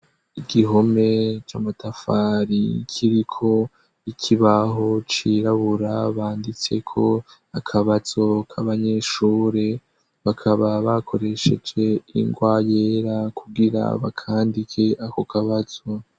Igihome c'amatafari nkiriko ikibaho cirabura banditseko akabazo k'abanyeshure bakaba bakoresheje ingwa yera kugira ba, kandi ke ako kabazo.